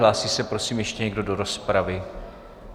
Hlásí se prosím ještě někdo do rozpravy?